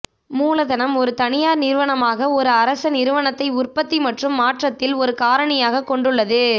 மூலதனம் ஒரு தனியார் நிறுவனமாக ஒரு அரச நிறுவனத்தை உற்பத்தி மற்றும் மாற்றத்தில் ஒரு காரணியாகக் கொண்டுள்ளது